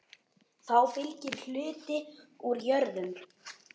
Þá fylgir hluti úr jörðum.